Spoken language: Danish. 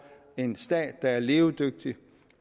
en stat der er levedygtig